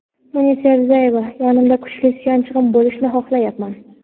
Munisa Rizayeva: Yonimda kuchli suyanchig‘im bo‘lishini xohlayapman.